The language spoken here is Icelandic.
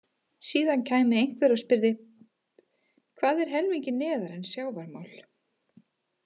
Síðan kæmi einhver og spyrði: Hvað er helmingi neðar en sjávarmál?